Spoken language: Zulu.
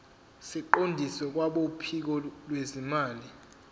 siqondiswe kwabophiko lwezimali